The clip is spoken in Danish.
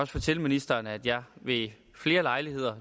fortælle ministeren at jeg ved flere lejligheder